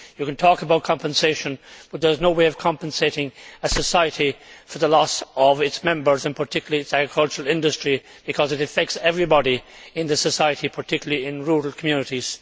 One can talk about compensation, but there is no way of compensating a society for the loss of its members, and particularly its agricultural industry, because this affects everybody in that society, particularly in rural communities.